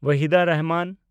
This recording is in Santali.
ᱣᱟᱦᱤᱫᱟ ᱨᱮᱦᱢᱟᱱ